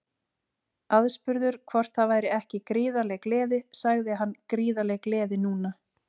Aðspurður hvort það væri ekki gríðarleg gleði sagði hann Gríðarleg gleði núna.